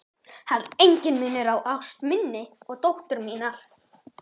Það er enginn munur á ást minni og dóttur minnar.